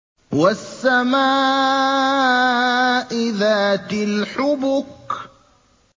وَالسَّمَاءِ ذَاتِ الْحُبُكِ